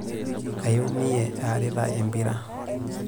Aiumie aarita empira.